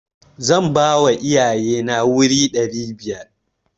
Zan bawa iyaye na wuri ɗari biyar.